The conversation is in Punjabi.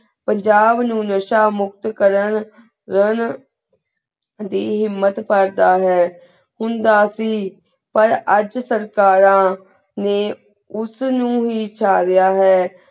ਪੰਜਾਬ ਨੂ ਨਸ਼ਾ ਮੁਕਤ ਕਰਨ ਰੂੰ ਦੀ ਹਿਮਤ ਪਰ ਦਾ ਹੈ ਹੁੰਦਾ ਸੀ ਪਰ ਅੱਜ ਸਰ੍ਤਾਯਾ ਨੇ ਉਸ ਨੂ ਹੀ ਚ ਗਯਾ ਹੈ